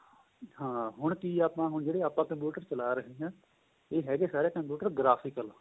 ਹਾਂ ਹੁਣ ਕਿ ਏ ਆਪਾਂ ਹੁਣ ਜਿਹੜੇ ਆਪਾਂ computer ਚਲਾ ਰਹੇ ਹਾਂ ਏਹ ਹੈਗੇ ਸਾਰੇ computer graphical